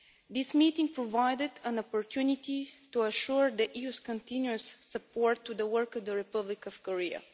This meeting provided an opportunity to pledge the EU's continuous support to the work of the Republic of Korea.